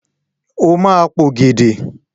O ma p'ògèdè!